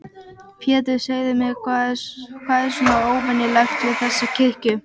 Pétur, segðu mér, hvað er svona óvenjulegt við þessa kirkju?